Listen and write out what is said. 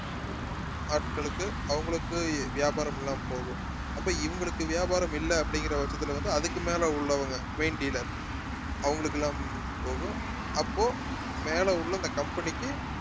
ஆட்களுக்கு அவங்களுக்கு வியாபாரம் இல்லாமல் போகும் அப்ப இவங்களுக்கு வியாபாரம் இல்லை அப்படிங்கிற பட்சத்துல வந்து அதுக்கு மேல உள்ளவங்க main dealer அவங்களுக்கு இல்லாம போகும் அப்போ மேல உள்ள அந்த company க்கு